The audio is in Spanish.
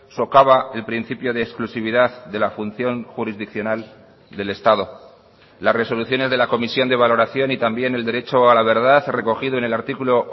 socava el principio de exclusividad de la función jurisdiccional del estado las resoluciones de la comisión de valoración y también el derecho a la verdad recogido en el artículo